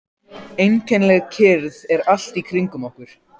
Einkennileg kyrrð er allt í kringum okkur.